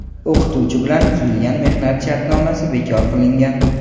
o‘qituvchi bilan tuzilgan mehnat shartnomasi bekor qilingan.